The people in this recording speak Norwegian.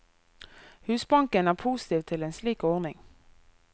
Husbanken er positiv til en slik ordning.